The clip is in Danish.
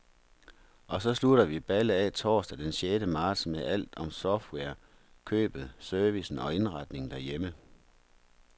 Og så slutter vi ballet af torsdag den sjette marts med alt om software, købet, service og indretningen derhjemme.